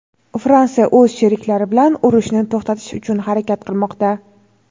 Fransiya o‘z sheriklari bilan urushni to‘xtatish uchun harakat qilmoqda.